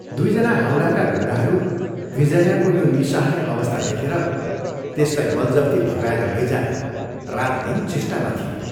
दुइ जना हाउडाका गुण्डाहरू विजयाको यो निःसहाय अवस्था देखेर त्यसलाई बलजफ्ती भगाएर लैजान रातदिन चेष्टामा थिए।